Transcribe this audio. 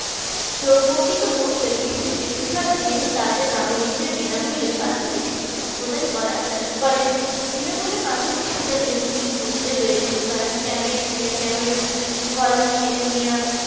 প্রকৃতপক্ষে বিশ্বের বেশিরভাগ দেশ তাদের নাগরিকদের বিনামূল্যে প্রাথমিক শিক্ষার প্রধান করা করেনা বিনামূল্যে প্রাথমিক শিক্ষা দেশগুলির মধ্যে রয়েছে ক্যামেরুন গলমিয়ার